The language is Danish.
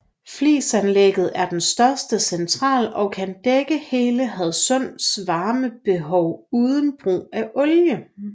Flisanlægget er den største central og kan dække hele Hadsunds varmebehov uden brug af olie